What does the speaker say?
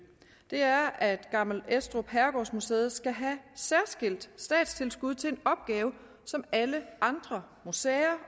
er at gammel estrup herregårdsmuseet skal have særskilt statstilskud til en opgave som alle andre museer